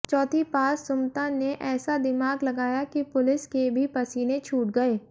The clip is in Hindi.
चौथी पास सुमता ने ऐसा दिमाग लगाया कि पुलिस के भी पसीने छूट गए